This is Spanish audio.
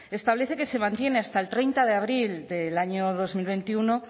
establece que se mantiene hasta el treinta de abril del año dos mil veintiuno